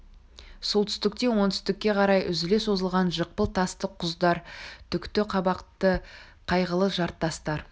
солтүстіктен оңтүстікке қарай үзіле созылған жықпыл тасты құздар түкті қабақты қайғылы жартастар